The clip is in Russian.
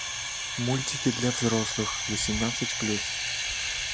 мультики для взрослых восемнадцать плюс